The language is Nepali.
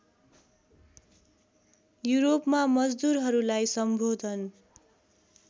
युरोपमा मजदुरहरूलाई सम्बोधन